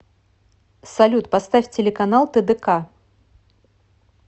салют поставь телеканал тдк